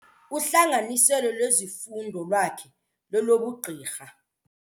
Uhlanganiselo lwezifundo lwakhe lolobugqirha.